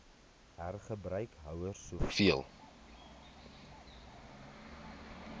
hergebruik houers soveel